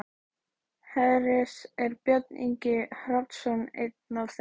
Hersir: Er Björn Ingi Hrafnsson einn af þeim?